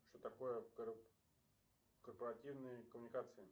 что такое корпоративные коммуникации